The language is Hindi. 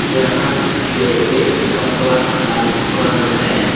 यहां पे एक कपड़ा का दुकान है।